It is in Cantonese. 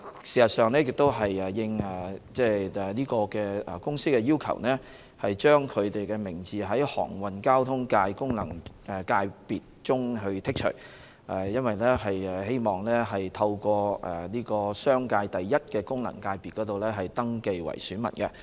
事實上，今次是應該公司的要求，把它從航運交通界功能界別中剔除，因為該公司希望透過商界的功能界別登記為選民。